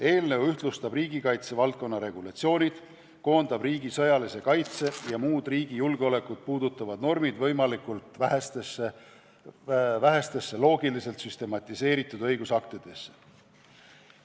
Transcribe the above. Eelnõu ühtlustab riigikaitse valdkonna regulatsioonid, koondab riigi sõjalise kaitse ja muud riigi julgeolekut puudutavad normid võimalikult vähestesse loogiliselt süstematiseeritud õigusaktidesse.